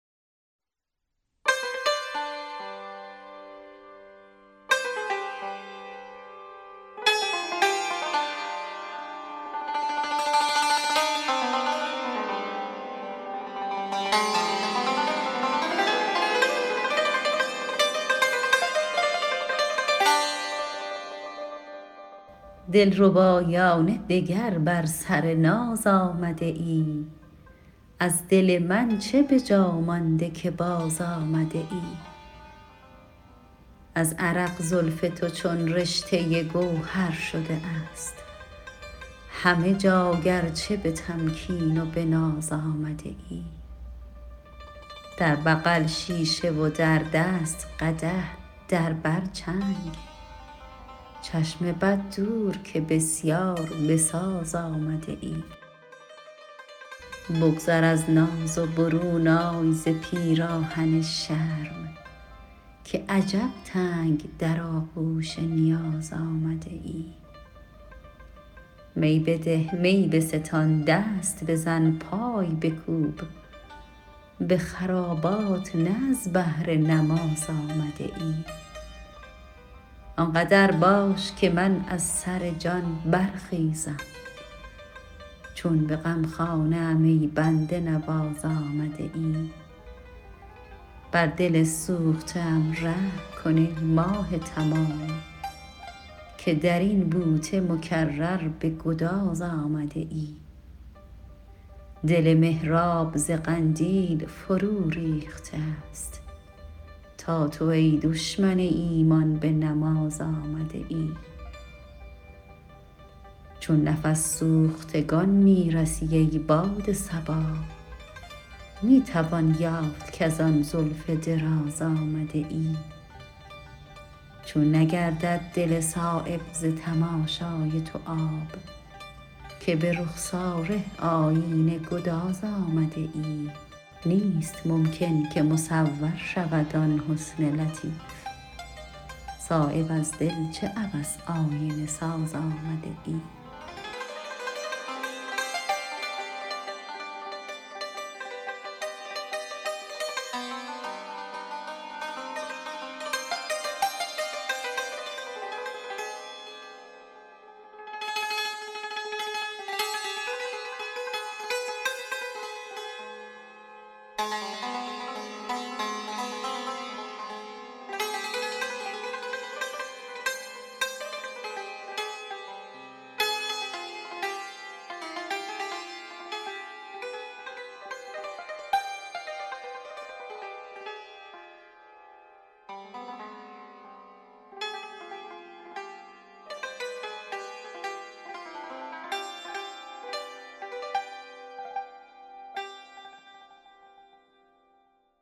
دلربایانه دگر بر سر ناز آمده ای از دل من چه به جا مانده که باز آمده ای از عرق زلف تو چون رشته گوهر شده است همه جا گرچه به تمکین و به ناز آمده ای در بغل شیشه و در دست قدح در بر چنگ چشم بد دور که بسیار بساز آمده ای بگذر از ناز و برون آی ز پیراهن شرم که عجب تنگ در آغوش نیاز آمده ای می بده می بستان دست بزن پای بکوب به خرابات نه از بهر نماز آمده ای آنقدر باش که من از سر جان برخیزم چون به غمخانه ام ای بنده نواز آمده ای بر دل سوخته ام رحم کن ای ماه تمام که درین بوته مکرر به گداز آمده ای دل محراب ز قندیل فرو ریخته است تا تو ای دشمن ایمان به نماز آمده ای چون نفس سوختگان می رسی ای باد صبا می توان یافت کزان زلف دراز آمده ای چون نگردد دل صایب ز تماشای تو آب که به رخساره آیینه گداز آمده ای نیست ممکن که مصور شود آن حسن لطیف صایب از دل چه عبث آینه ساز آمده ای